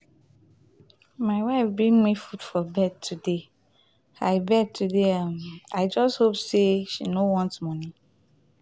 my wife bring me food for bed today i beg today i just hope say she um no want money.